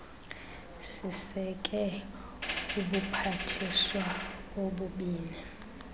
siseke ubuphathiswa obubini